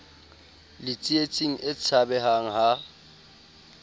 le tsietsing e tshabehang ha